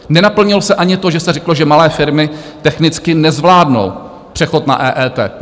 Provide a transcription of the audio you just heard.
Nenaplnilo se ani to, že se řeklo, že malé firmy technicky nezvládnou přechod na EET.